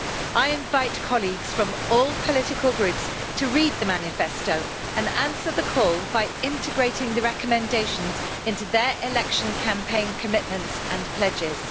I invite colleagues from all political groups to read the manifesto and answer the call by integrating the recommendations into their election campaign commitments and pledges.